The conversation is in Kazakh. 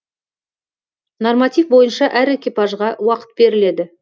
норматив бойынша әр экипажға уақыт беріледі